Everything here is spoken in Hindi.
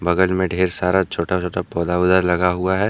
बगल में ढेर सारा छोटा-छोटा पौधा-वोधा लगा हुआ है।